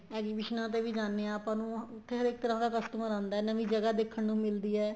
exhibition ਤੇ ਵੀ ਜਾਂਦੇ ਆ ਆਪਾਂ ਨੂੰ ਉੱਥੇ ਹਰੇਕ ਤਰ੍ਹਾਂ ਦਾ customer ਆਂਦਾ ਹੈ ਨਵੀਂ ਜਗਾਂ ਦੇਖਣ ਨੂੰ ਮਿਲਦੀ ਹੈ